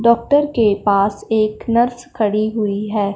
Doctor के पास एक नर्स खड़ी हुईं हैं।